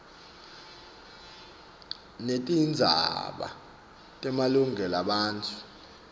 netindzaba temalungelo ebantfu